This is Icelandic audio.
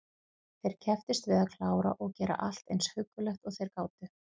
Þeir kepptust við að klára og gera allt eins huggulegt og þeir gátu.